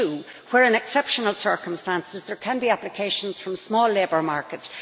4.2 where, in exceptional circumstances, there can be applications from small labour markets.